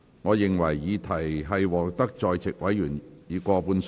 我認為議題獲得在席委員以過半數贊成。